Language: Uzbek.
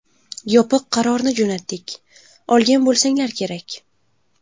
Yopiq qarorni jo‘natdik, olgan bo‘lsanglar kerak.